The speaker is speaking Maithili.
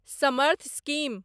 समर्थ स्कीम